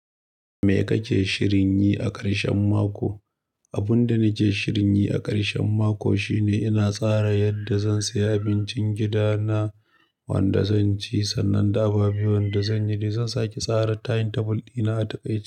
Me kake shirin yi a ƙarshen mako? Abun da nake shirin yi a ƙarshen mako shine ina tsara yadda zan saya abincin gida na wanda zan ci, sannan da abubuwan da zan yi da zan sake tsara timetable dina a taƙaice.